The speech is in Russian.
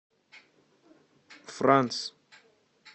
франс